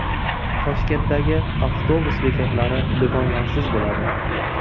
Toshkentdagi avtobus bekatlari do‘konlarsiz bo‘ladi.